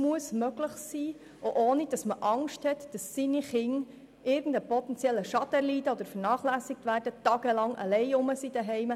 Dies muss möglich sein, ohne Angst haben zu müssen, dass die eigenen Kinder einen potenziellen Schaden erleiden, vernachlässigt werden oder tagelang allein zu Hause bleiben.